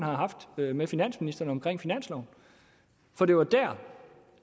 har haft med med finansministeren om finansloven for det var der